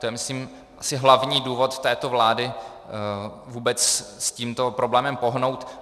To je myslím asi hlavní důvod této vlády vůbec s tímto problémem pohnout.